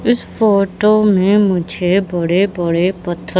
इस फोटो में मुझे बड़े बड़े पत्थर--